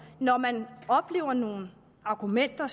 når man oplever nogle argumenter